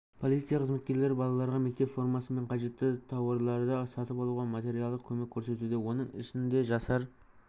полиция қызметкерлері балаларға мектеп формасы мен қажетті тауарларды сатып алуға материалдық көмек көрсетуде оның ішінде жасар